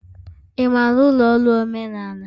Ị maara ụlọ ọrụ omenala?